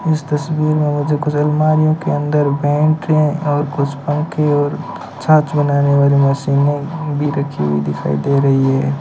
इस तस्वीर में मुझे कुछ अलमारियों के अंदर बैंकें और कुछ पंखे और छाछ बनाने वाली मशीनें भी रखी हुई दिखाई दे रही है।